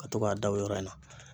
Ka to k'a da o yɔrɔ in na